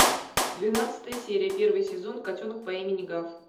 двенадцатая серия первый сезон котенок по имени гав